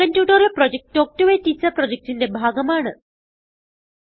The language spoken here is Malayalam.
spoken tutorial project talk to a teacher പ്രൊജക്റ്റിന്റെ ഭാഗമാണ്